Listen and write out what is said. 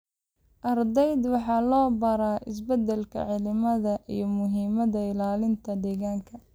Ardayda waxaa loo baraa isbeddelka cimilada iyo muhiimadda ilaalinta deegaanka.